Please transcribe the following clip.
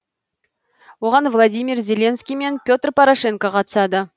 оған владимир зеленский мен петр порошенко қатысады